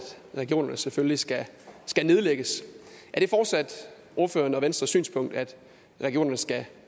regionerne selvfølgelig skal nedlægges er det fortsat ordførerens og venstres synspunkt at regionerne skal